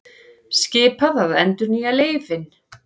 Skipað að endurnýja leyfin